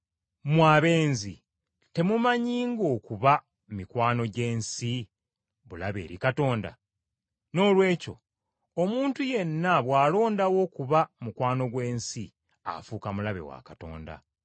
Mmwe abenzi temumanyi ng’okuba mikwano gy’ensi bulabe eri Katonda? Noolwekyo omuntu yenna bw’alondawo okuba mukwano gw’ensi afuuka mulabe wa Katonda.